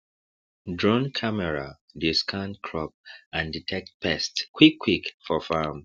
drone camera dey scan crop and detect pest quickquick for farm